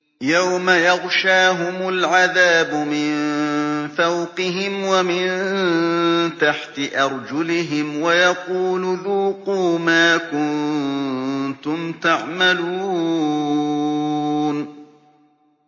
يَوْمَ يَغْشَاهُمُ الْعَذَابُ مِن فَوْقِهِمْ وَمِن تَحْتِ أَرْجُلِهِمْ وَيَقُولُ ذُوقُوا مَا كُنتُمْ تَعْمَلُونَ